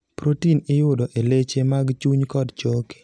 prothein iyudo e leche mag chuny kod choke